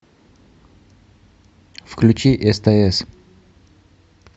включи стс